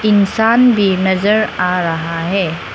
इंसान भी नजर आ रहा है।